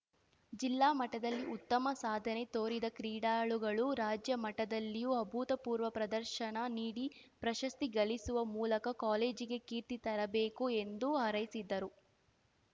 ಜಿಲ್ಲಾ ಮಟ್ಟದಲ್ಲಿ ಉತ್ತಮ ಸಾಧನೆ ತೋರಿದ ಕ್ರೀಡಾಳುಗಳು ರಾಜ್ಯಮಟ್ಟದಲ್ಲಿಯೂ ಅಭೂತಪೂರ್ವ ಪ್ರದರ್ಶನ ನೀಡಿ ಪ್ರಶಸ್ತಿ ಗಳಿಸುವ ಮೂಲಕ ಕಾಲೇಜಿಗೆ ಕೀರ್ತಿ ತರಬೇಕು ಎಂದು ಹಾರೈಸಿದರು